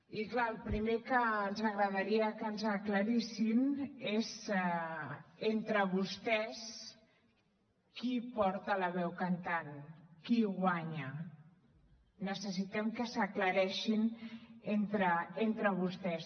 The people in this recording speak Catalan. i clar el primer que ens agradaria que ens aclarissin és entre vostès qui porta la veu cantant qui guanya necessitem que s’aclareixin entre vostès